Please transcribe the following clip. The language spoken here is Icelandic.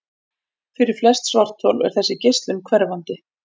Fyrir flest svarthol er þessi geislun hverfandi.